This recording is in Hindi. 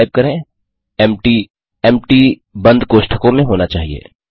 फिर टाइप करें empty एम्प्टी बंद कोष्ठकों में होना चाहिए